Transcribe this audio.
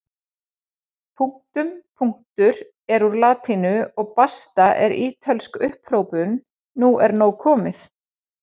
Punktum punktur er úr latínu og basta er ítölsk upphrópun nú er nóg komið!